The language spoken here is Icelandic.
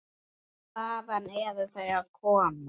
Hvaðan eru þau að koma?